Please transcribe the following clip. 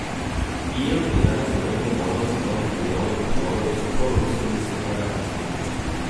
Kijev je danes zavrnil možnost novih mirovnih pogovorov s proruskimi separatisti.